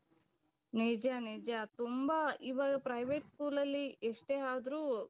ನಿಜ ನಿಜ ತುಂಬಾ ಇವಾಗ private schoolಅಲ್ಲಿ ಎಷ್ಟೇ ಆದ್ರೂ